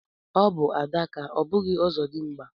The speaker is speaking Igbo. Ọbụ adaka ọ bụghị ọzọdimgba